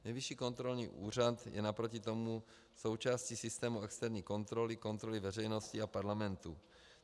Nejvyšší kontrolní úřad je naproti tomu součástí systému externí kontroly, kontroly veřejnosti a parlamentu.